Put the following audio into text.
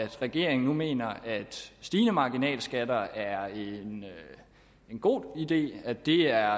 regeringen nu mener at stigende marginalskatter er en god idé og at det er